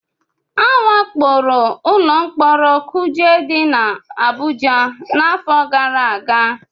A wakporo ụlọ mkpọrọ kuje dị n'Abụja n'afọ gara aga